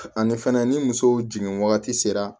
Ani fɛnɛ ni musow jigin wagati sera